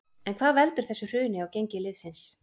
En hvað veldur þessu hruni á gengi liðsins?